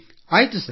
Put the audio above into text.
ಆಯ್ತು ಸರ್